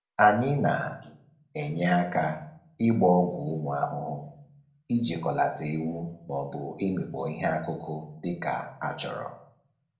Anyị na-enye aka ịgba ọgwụ ụmụ ahụhụ, ijikọlata ewu, maọbụ ịmịkpọ ihe akụkụ dịka a chọrọ